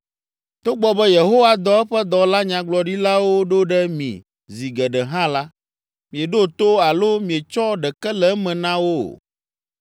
Togbɔ be Yehowa dɔ eƒe dɔla nyagblɔɖilawo ɖo ɖe mi zi geɖe hã la, mieɖo to alo mietsɔ ɖeke le eme na wo o.